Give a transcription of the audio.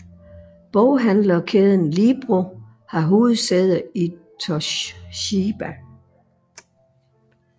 Boghandlerkæden Libro har hovedsæde i Toshima